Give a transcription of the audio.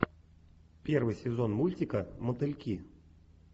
первый сезон мультика мотыльки